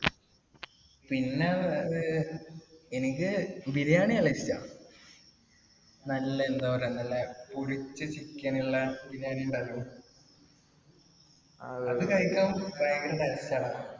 പിന്നെ എനിക്ക് ബിരിയാണി നല്ല ഇഷ്ട നല്ല എന്താ പറയാ നല്ല പൊരിച്ച chicken ഉള്ള ബിരിയാണി അത് കഴിക്കാൻ ഭയങ്കര taste ആ